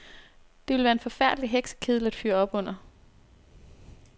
Det ville være en forfærdelig heksekedel at fyre op under.